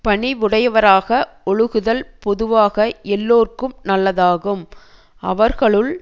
பணிவுடையவராக ஒழுகுதல்பொதுவாக எல்லோர்க்கும் நல்லதாகும் அவர்களுள்